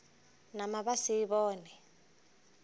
nama ba sa e bone